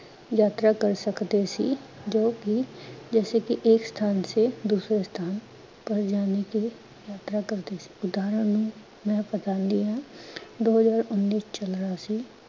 ਯਾਤਰਾ ਕਰ ਸਕਦੇ ਸੀ ਜੋ ਕੀ ਜੈਸੇ ਕੀ ਏਕ ਸਥਾਨ ਸੇ ਦੂਸਰੇ ਸਥਾਨ ਪਰ ਜਾਨੇ ਕੇ ਲਿਏ ਯਾਤਰਾ ਕਰਦੇ ਸੀ। ਉਧਾਰਣ ਨੂੰ ਮੈਂ ਬਤਾੰਦੀ ਹਾਂ, ਦੋ ਹਜਾਰ ਉਨੀਂ ਚਲ ਰਿਹਾ ਸੀ